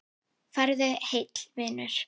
Farðu heill, vinur.